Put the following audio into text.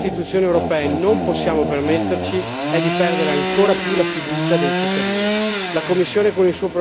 In sostanza ciò che come Istituzioni europee non possiamo permetterci è di perdere ancor più la fiducia dei cittadini.